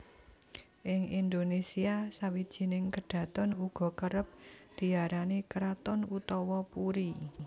Ing Indonésia sawijining kedhaton uga kerep diarani kraton utawa puri